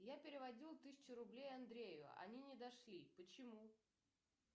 я переводила тысячу рублей андрею они не дошли почему